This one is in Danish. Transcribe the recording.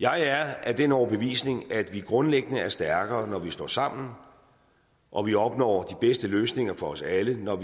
jeg er af den overbevisning at vi grundlæggende er stærkere når vi står sammen og vi opnår de bedste løsninger for os alle når